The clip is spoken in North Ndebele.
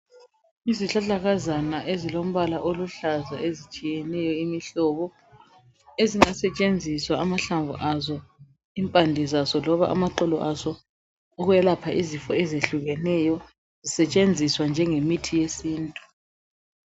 Izihlahlakazana ezilombala oluhlaza ezitshiyeneyo imihlobo. Ezingasetshenziswa amahlamvu azo, impande zazo noma amaxolo azo ukwelapha izifo ezehlukeneyo zisetshenziswa njengemithi yesintu.